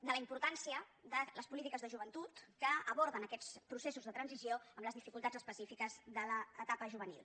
de la importància de les polítiques de joventut que aborden aquests processos de transició amb les dificultats específiques de l’etapa juvenil